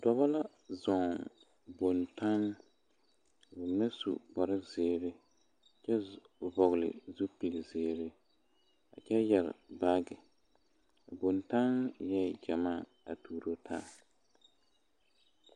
Dɔbɔ la zɔɔ boŋtaŋ ka mine su kparre zeere a kyɛ vɔgle zupili zeere kyɛ yɛre baagi a boŋtaŋ eɛ gyamaa a tuuro taa.